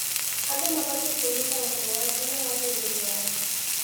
Andũ mabatiĩ kũnyita ũhoro wa tene wa bũrũri wao.